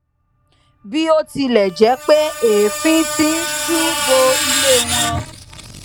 bí ó tilè jé pé èéfín tó ń ṣú bo ilé wọn